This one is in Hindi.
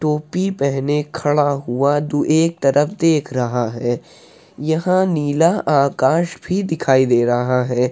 टोपी पहने खड़ा हुआ तू एक तरफ देख रहा है। यह नीला आकाश भी दिखाई दे रहा है।